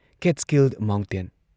Catskill mountain!